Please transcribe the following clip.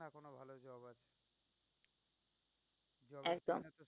একদম।